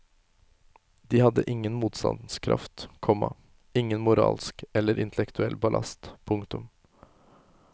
De hadde ingen motstandskraft, komma ingen moralsk eller intellektuell ballast. punktum